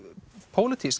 pólitískt